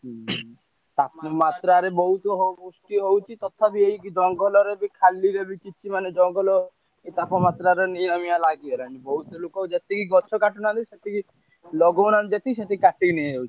ତପମାତ୍ରାରେ ବହୁତ ହଉଛି ତଥାପି ଏଇଠି ଜଙ୍ଗଲରେ ଯୋଉ ଖାଲି କିଛି ମାନେ ଜଙ୍ଗଲ ତପମାତ୍ରାରେ ନିଆଁ ମିଆଁ ଲାଗିଗଲାଣି ବହୁତ ଲୋକ ଯେତିକି ଗଛ କାଟୁନାହାନ୍ତି ସେତିକି ଲଗଉନାହାନ୍ତି ଯେତିକି ସେତିକି କାଟିକି ନେଇଯାଉଛି।